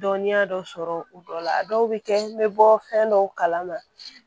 dɔnniya dɔ sɔrɔ o dɔ la a dɔw bɛ kɛ n bɛ bɔ fɛn dɔw kalama